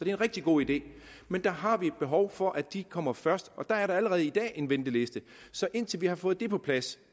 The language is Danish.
en rigtig god idé men der har vi et behov for at de kommer først og der er allerede i dag en venteliste så indtil vi har fået det på plads